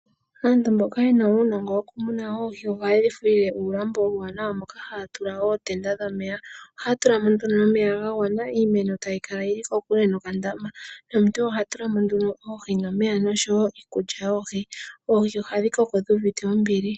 Aantu mbono yena uunongo woku muna oohi oha yedhi thele uulambo uuwanawa moka haya tula ootenda dhomeya. Ohaya tula mo nduno omeya ga gwana iimeno tayi kala yili kokule no kandama. Nomuntu oha tulamo nduno Oohi nomeya osho wo iikulya yoohi. Oohi ohadhi koko dhuuvite ombili.